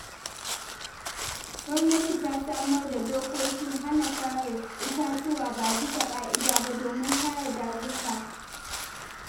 Gwamnati ta samar da dokokin hana sare itatuwa ba bisa ƙa’ida ba domin kare dazuka.